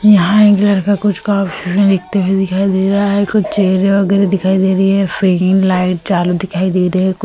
यहां एक लड़का कुछ कॉफी में लिखते हुए दिखाई दे रहा है कुछ चेहरे वगैरह दिखाई दे रही है फेन लाइट चालू दिखाई दे रही है।